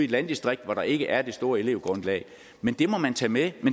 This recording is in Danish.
landdistrikt hvor der ikke er det store elevgrundlag men det må man tage med